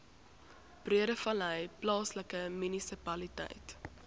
breedevallei plaaslike munisipaliteit